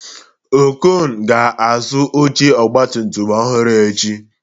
Okon ga-azụ oche ọgbatumtum ọhụrụ echi